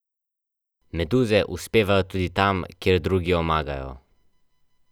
Leposlovje pa seveda še vedno berem na papirju.